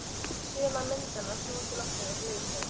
Sumar myndanna snúist í loftinu eins og leikföng.